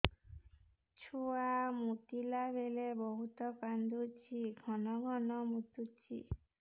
ଛୁଆ ମୁତିଲା ବେଳେ ବହୁତ କାନ୍ଦୁଛି ଘନ ଘନ ମୁତୁଛି